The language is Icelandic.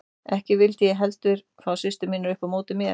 Ekki vildi ég heldur fá systur mínar upp á móti mér.